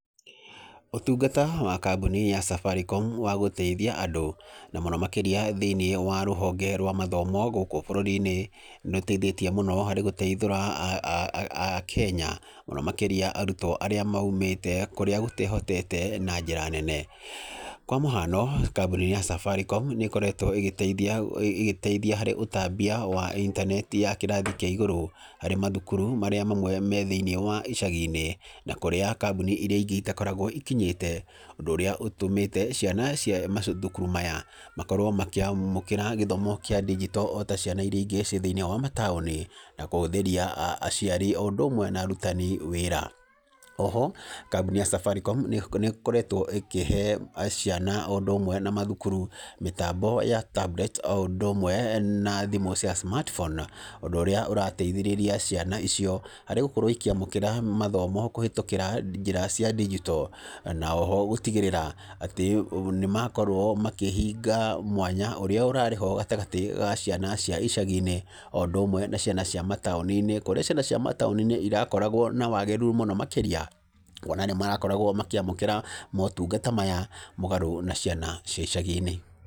Ũtungata wa kambuni ya Safaricom wa gũteithia andũ na mũno makĩria thĩinĩ wa rũhonge rwa mathomo thĩinĩ wa gũkũ bũrũri-inĩ, nĩ ũteithĩtie mũno harĩ gũteithũra akenya, mũno makĩria arutwo arĩa maumĩte kũrĩa gũtehotete na njĩra nene. Kwa mũhano kambuni ya Safaricom nĩ ĩkoretwo ĩgĩteithia ĩgĩteithia harĩ ũtambia wa intaneti ya kĩrathi kĩa igũrũ, harĩ mathukuru marĩa mamwe me thĩinĩ wa icagi-inĩ, na kũrĩa kambuni iria ingĩ itakoragwo ikinyĩte, ũndũ ũrĩa ũtũmĩte ciana cia mathukuru maya, makorwo makĩamũkĩra gĩthomo kĩa ndinjito ota ciana iria ingĩ ciĩ thĩinĩ wa mataũni, na kũhũthĩria aciari o ũndũ ũmwe na arutani wĩra. Oho kambuni ya Safaricom nĩ ĩkoretwo ĩkĩhe ciana o ũndũ ũmwe na mathukuru mĩtambo ya tablets o ũndũ ũmwe na thimũ cia smartphone, ũndũ ũrĩa ũrateithĩrĩria ciana icio harĩ gũkorwo ikĩamũkĩra mathomo kũhĩtũkĩra njĩra cia digital, na oho gũtigĩrĩra atĩ nĩ makorwo makĩhinga mwanya ũrĩa ũrarĩho gatagatĩ ga ciana cia icagi-inĩ, o ũndũ ũmwe na ciana cia mataũni-inĩ, kũrĩa ciana cia mataũni-inĩ irakoragwo na wagĩrĩru mũno makĩria, kuona nĩ marakoragwo makĩona motungata maya mũgarũ na ciana cia icagi-inĩ.